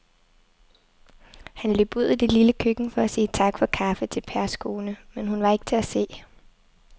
Han løb ud i det lille køkken for at sige tak for kaffe til Pers kone, men hun var ikke til at se.